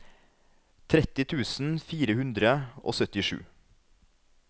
tretti tusen fire hundre og syttisju